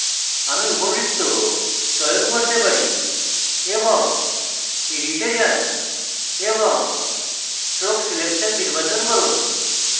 আমি উপবৃত্ত চয়ন করতে পারি এবং edit এ যান এবং stroke selection নির্বাচন করুন